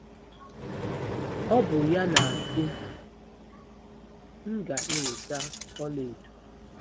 Ọ bụ ya na-asị: “ M ga-eweta ọlaedo.